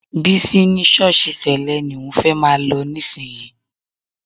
Bísí ní ṣọ́ọ̀ṣì Sẹ́lẹ̀ ni òun fẹ́ máa lọ nísìnyí